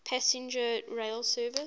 passenger rail service